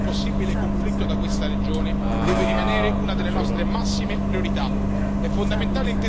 Allontanare le ombre di un possibile conflitto da questa regione deve rimanere una delle nostre massime priorità.